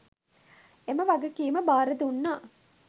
එම වගකීම බාර දුන්නා.